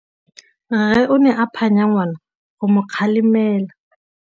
Rre o ne a phanya ngwana go mo galemela.